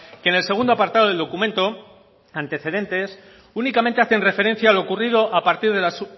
que en el segundo apartado del documento antecedente únicamente hacen referencia a lo ocurrido a partir de las